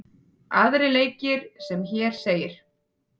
Aðrir leikir eru sem hér segir: